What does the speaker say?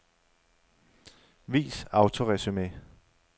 Vis autoresumé.